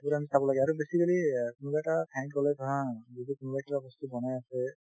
সেইটো আমি চাব লাগে আৰু basically অ কোনোবা এটা ঠাইত গলে ধৰা যদি কোনোবাই কিবা বস্তু বনাই আছে